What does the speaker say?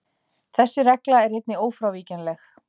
Þessi regla er einnig ófrávíkjanleg.